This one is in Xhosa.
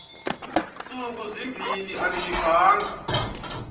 ntsuku zimbin andiyivanga